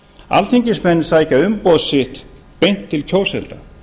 alþingismenn sækja umboð sitt beint til kjósenda